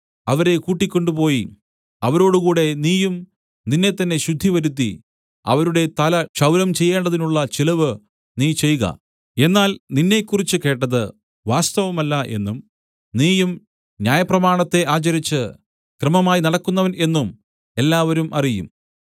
അവരെ കൂട്ടിക്കൊണ്ടുപോയി അവരോടുകൂടെ നീയും നിന്നെത്തന്നെ ശുദ്ധിവരുത്തി അവരുടെ തല ക്ഷൗരം ചെയ്യേണ്ടതിനുള്ള ചെലവ് നീ ചെയ്ക എന്നാൽ നിന്നെക്കുറിച്ച് കേട്ടത് വാസ്തവമല്ല എന്നും നീയും ന്യായപ്രമാണത്തെ ആചരിച്ച് ക്രമമായി നടക്കുന്നവൻ എന്നും എല്ലാവരും അറിയും